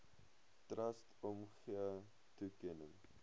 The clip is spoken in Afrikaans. trust omgee toekenning